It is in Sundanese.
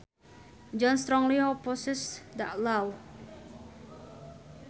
John strongly opposes that law